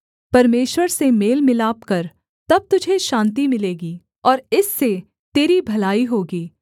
परमेश्वर से मेल मिलाप कर तब तुझे शान्ति मिलेगी और इससे तेरी भलाई होगी